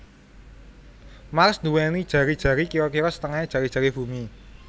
Mars nduwèni jari jari kira kira setengahé jari jari Bumi